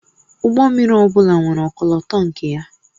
Ụgbọ mmiri ọ bụla nwere ọkọlọtọ nke ya